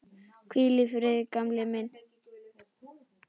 Hvíl í friði, gamli minn.